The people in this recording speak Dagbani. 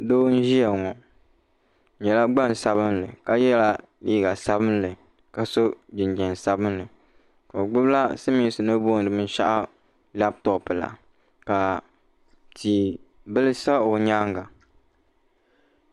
doo n-ʒiya ŋɔ o nyɛla gbaŋ' sabinli ka yela liiga sabinli ka sɔ jinjam sabinli ka o gbubi la silimiinsi ni booni binshɛɣu labtopu la ka tia bili sa o nyaaga.